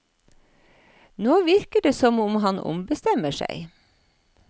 Nå virker det som om han ombestemmer seg.